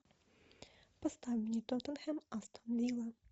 поставь мне тоттенхэм астон вилла